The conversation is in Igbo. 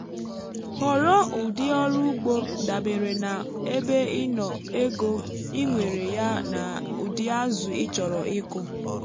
họrọ ụdị ọrụ ugbo dabere na ebe ị nọ ego i nwere yá na ụdị azụ ịchọrọ ịkụ.